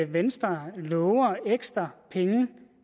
venstre lover ekstra penge